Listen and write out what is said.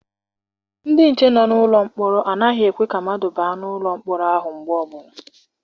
Ndị nche nọ n'ụlọ mkpọrọ anaghị ekwe ka mmadụ baa n'ụlọ mkpọrọ ahụ mgbe ọbụla.